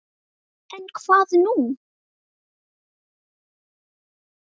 En hvað nú?